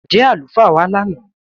Ǹjẹ́ alufaa wa lánà?